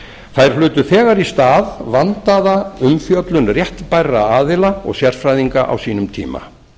þær hlutu þegar í stað vandaða umfjöllun réttbærra aðila og sérfræðinga á sínum tíma